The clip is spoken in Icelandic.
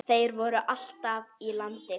Þeir voru alltaf í landi.